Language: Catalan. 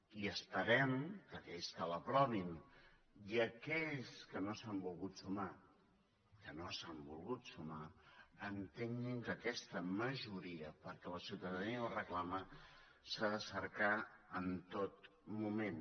i esperem que aquells que l’aprovin i aquells que no s’hi han volgut sumar que no s’hi han volgut sumar entenguin que aquesta majoria perquè la ciutadania ho reclama s’ha de cercar en tot moment